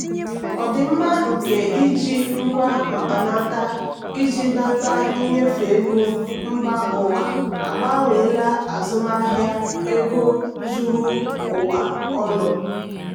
ọdịmma nke iji ngwa mkpanaka iji nata nnyefe ego mba ụwa agbanweela azụmahịa ego zuru ụwa ọnụ.